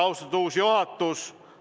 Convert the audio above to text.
Austatud uus juhatus!